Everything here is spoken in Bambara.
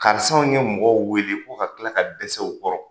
Karisaw ye mɔgɔw weele ko ka tila ka dɛsɛ u kɔrɔ.